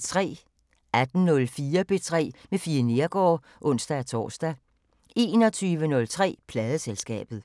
18:04: P3 med Fie Neergaard (ons-tor) 21:03: Pladeselskabet